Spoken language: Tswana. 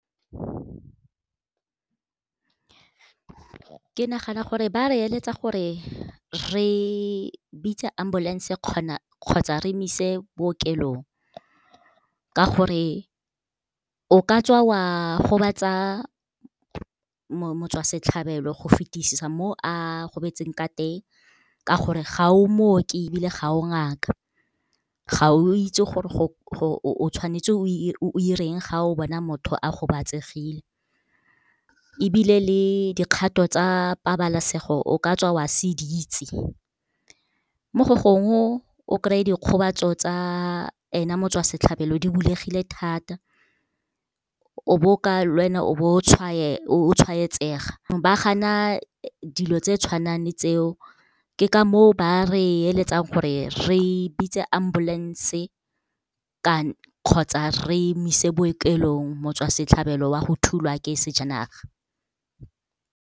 Ke nagana gore ba re eletsa gore re bitse ambulance kgotsa re mo ise bookelong ka gore, o ka tswa wa gobatsa motswasetlhabelo go fetisisa mo a gobetseng ka teng, ka gore ga o mooki ebile ga o ngaka, ga o itse gore o tshwanetse o 'ireng ga o bona motho a gobatsegile. Ebile le dikgato tsa pabalesego o ka tswa oa se di itse. Mo go gongwe o kry-e dikgobatso tsa ena motswasetlhabelo di bulegile thata, lwena o bo o tshwaetsega. Ba gana dilo tse tshwanang le tseo, ke ka mo o ba re eletsang gore re bitse ambulance-e kgotsa re mo ise bookelong motswasetlhabelo wa go thulwa ke sejanaga.